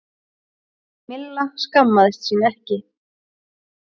Milla skammaðist sín ekki.